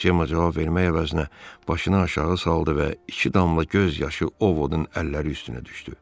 Cema cavab vermək əvəzinə başını aşağı saldı və iki damla göz yaşı O Vodun əlləri üstünə düşdü.